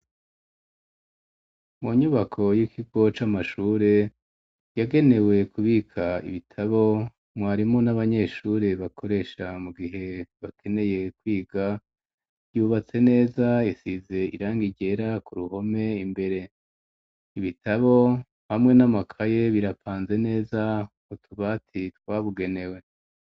Mu nyubako y'ikigo c'amashure, yagenewe kubika ibitabo, mwarimu n'abanyeshure bakoresha mu gihe bakeneye kwiga; yubatse neza isize irangi ryera ku ruhome imbere, ibitabo hamwe n'amakaye birapanze neza, ku tubati twabugenewe.